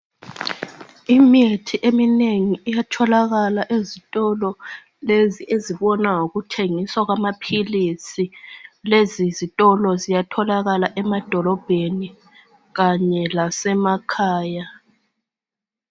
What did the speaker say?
Imithi eminengi iyatholakala ezitolo lezi ezibona ngokuthengiswa kwamaphilisi, lezi zitolo ziyatholaka emadolobheni kanye lase makhaya